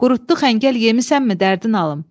Qurutdu xəngəl yemisanmı dərdin alım?